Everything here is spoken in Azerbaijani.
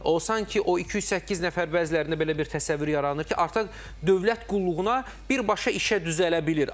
O sanki o 208 nəfər bəzilərində belə bir təsəvvür yaranır ki, artıq dövlət qulluğuna birbaşa işə düzələ bilir.